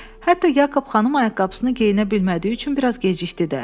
Hətta Yakob xanım ayaqqabısını geyinə bilmədiyi üçün biraz gecikdi də.